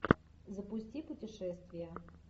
запусти путешествие